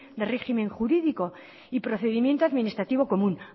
de régimen jurídico y procedimiento administrativo común